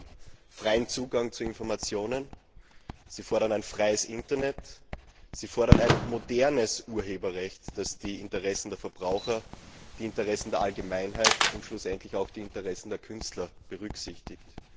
Sie fordern freien Zugang zu Informationen, sie fordern ein freies Internet, sie fordern ein modernes Urheberrecht, das die Interessen der Verbraucher, der Allgemeinheit und schlussendlich auch die Interessen der Künstler berücksichtigt.